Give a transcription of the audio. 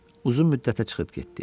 Uzun müddətə çıxıb getdi.